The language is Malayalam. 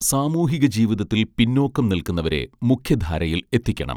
സാമൂഹിക ജീവിതത്തിൽ പിന്നോക്കം നിൽക്കുന്നവരെ മുഖ്യധാരയിൽ എത്തിക്കണം